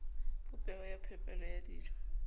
popeho ya phepelo ya dijo